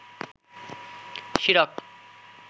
শিরক